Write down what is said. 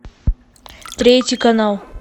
третий канал